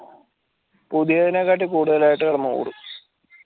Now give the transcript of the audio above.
പുതിയതിനെകാട്ടി കൂടുതലായിട്ട് കിടന്നോടും